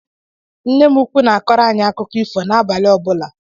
Nne m ụkwụ na-akọrọ anyị akụkọ ifo n'abali ọbula.